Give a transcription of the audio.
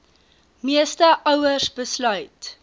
meeste ouers besluit